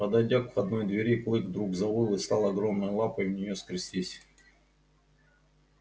подойдя к входной двери клык вдруг завыл и стал огромной лапой в нее скрестись